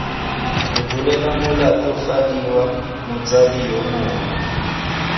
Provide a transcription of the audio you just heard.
rebolela molatofadiwa motsadi yo mongwe